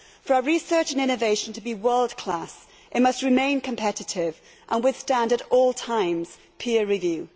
For our research and innovation to be world class it must remain competitive and withstand at all times peer review.